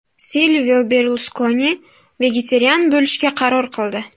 Silvio Berluskoni vegetarian bo‘lishga qaror qildi.